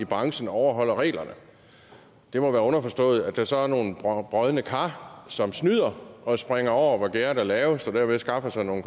branchen overholder reglerne det må være underforstået at der så er nogle brodne kar som snyder og springer over hvor gærdet er lavest og derved skaffer sig nogle